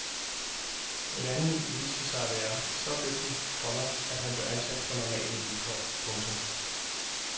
En anden viste sig at være så dygtig, komma at han blev ansat på normale vilkår. punktum